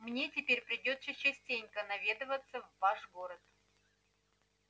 мне теперь придётся частенько наведываться в ваш город